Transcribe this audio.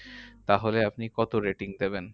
তাহলে আপনি কত rating দেবেন?